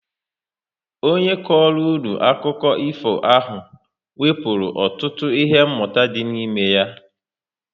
Ọ nye kọrọ unu akụkọ ifo ahụ wepụrụ ọtụtụ ihe mụta dị n'ime ya